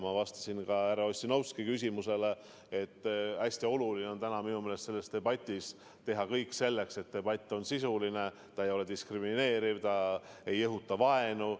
Ma vastasin ka härra Ossinovski küsimusele, et minu meelest on hästi oluline selles debatis teha kõik selleks, et debatt oleks sisuline, et see ei oleks diskrimineeriv, et see ei õhutaks vaenu.